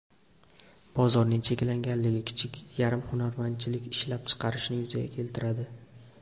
Bozorning cheklanganligi kichik yarim hunarmandchilik ishlab chiqarishni yuzaga keltiradi.